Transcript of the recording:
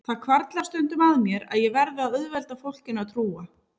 Það hvarflar stundum að mér að ég verði að auðvelda fólkinu að trúa